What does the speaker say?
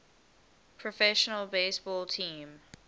professional baseball team